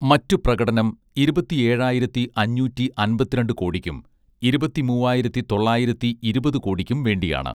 മറ്റു പ്രകടനം ഇരുപത്തി ഏഴായിരത്തി അഞ്ഞൂറ്റി അൻപത്തിരണ്ട് കോടിയ്ക്കും ഇരുപത്തിമൂവായിരത്തി തൊള്ളായിരത്തി ഇരുപത് കോടിയ്ക്കും വേണ്ടിയാണ്